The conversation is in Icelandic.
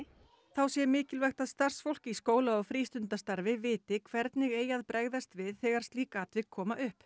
þá sé mikilvægt að starfsfólk í skóla og frístundastarfi viti hvernig eigi að bregðast við þegar slík atvik koma upp